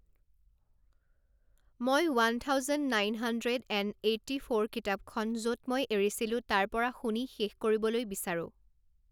মই one thousand nine hundred and eighty four কিতাপখন য'ত মই এৰিছিলো তাৰ পৰা শুনি শেষ কৰিবলৈ বিচাৰোঁ